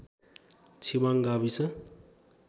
छिवाङ्ग गाविस